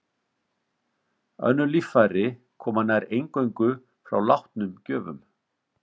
Önnur líffæri koma nær eingöngu frá látnum gjöfum.